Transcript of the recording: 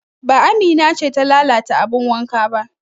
Ba Amina ce ta lalata abin wanka ba